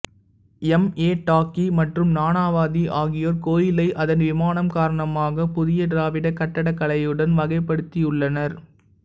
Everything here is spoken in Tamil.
எம் ஏ டாக்கி மற்றும் நானாவதி ஆகியோர் கோயிலை அதன் விமானம் காரணமாக புதிய திராவிடக் கட்டிடக்கலையுடன் வகைப்படுத்தியுள்ளனர்